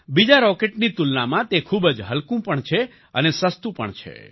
બીજા રોકેટની તુલનામાં તે ખૂબ જ હલ્કું પણ છે અને સસ્તું પણ છે